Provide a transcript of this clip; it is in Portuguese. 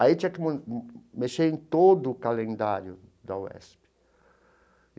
Aí tinha que mexer em todo o calendário da UESP.